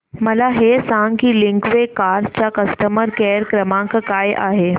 मला हे सांग की लिंकवे कार्स चा कस्टमर केअर क्रमांक काय आहे